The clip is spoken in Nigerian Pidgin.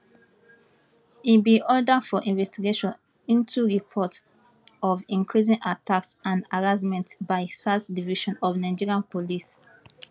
e bin order for investigation into reports of increasing attacks and harassment by sars division of nigerian police